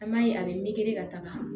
An b'a ye a bɛ meleke ka taga